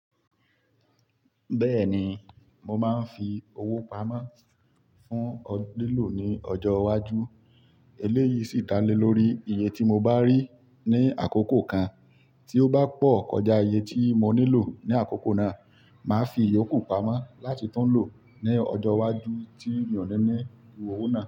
Bẹ́ẹ̀ni, mo máa ń fi owó pamọ́ fún lílò ní ọjọ́ iwájú. Eléyìí sì ta lé lórí iye tí mo bá rí ní àkókò kan tí ó bá pọ̀ kọjá iye tí mo nílò ní àkókò náà. Máa fi iyókù pamọ́ láti tún lò ní ọjọ́ iwájú tí èèyàn le ní ìwò náà.